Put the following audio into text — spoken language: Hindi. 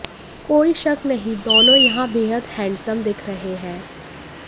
कोई शक नहीं दोनों यहां बेहद हैंडसम दिख रहे हैं